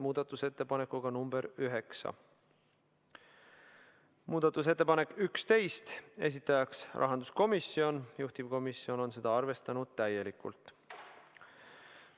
Muudatusettepanek nr 11, esitajaks on rahanduskomisjon ja juhtivkomisjon on arvestanud seda täielikult.